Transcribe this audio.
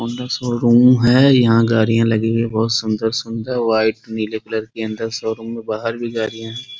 Honda showroom है यहाँ गाड़ियां लगी हुई है बहुत सुन्दर-सुन्दर व्हाइट नीले कलर की अन्दर शोरूम में बाहर भी गाड़ियां है।